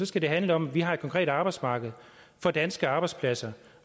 skal det handle om at vi har et konkret arbejdsmarked for danske arbejdspladser